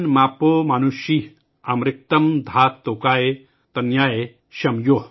अमृक्तम् धात तोकाय तनयाय शं यो।